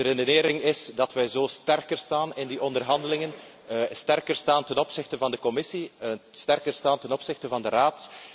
De redenering is dat wij zo sterker staan in die onderhandelingen, sterker staan ten opzichte van de Commissie, sterker staan ten opzichte van de Raad.